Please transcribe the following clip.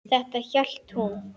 Þetta hélt hún.